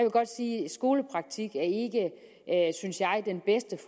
skolepraktik ikke er synes jeg den bedste